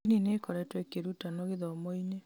ndini nĩĩkoretwo ĩkĩrutanwo gĩthomoinĩ